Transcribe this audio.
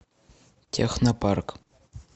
технопарк